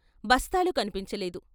బస్తాలు కన్పించలేదు.